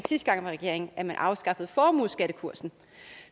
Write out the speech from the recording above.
regeringen at man afskaffede formueskattekursen